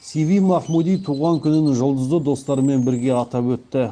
сиви махмуди туған күнін жұлдызды достарымен бірге атап өтті